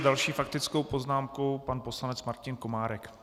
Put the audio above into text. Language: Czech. S další faktickou poznámkou pan poslanec Martin Komárek.